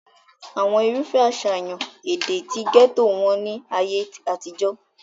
àwọn irúfẹ́ àṣàyàn èdè ti gẹ́tò wọ́n ní ayé àtijọ́